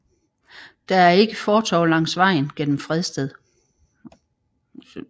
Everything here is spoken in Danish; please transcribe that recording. Der er ikke fortov langs vejen gennem Fredsted